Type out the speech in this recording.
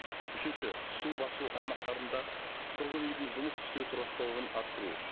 үшінші су басу аймақтарында тұрғын үйдің жұмыс істеу тұрақтылығын арттыру